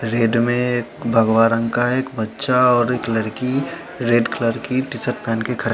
red में भगवा रंग का एक बच्चा और एक लड़की रेड कलर की टीशर्ट पहन के खड़े--